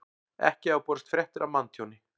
Ekki hafa borist fréttir af manntjóni